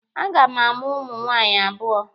A ga m amụ ụmụ nwaanyị abụọ.